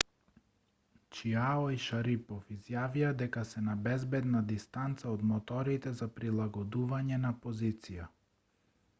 чиао и шарипов изјавија дека се на безбедна дистанца од моторите за прилагодување на позиција